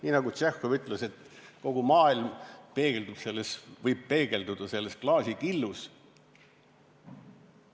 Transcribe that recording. Nii nagu Tšehhov ütles, kogu maailm võib peegelduda klaasikillus.